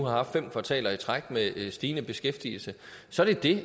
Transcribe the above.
haft fem kvartaler i træk med stigende beskæftigelse så er det